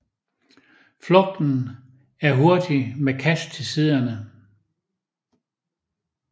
Flugten er hurtig med kast til siderne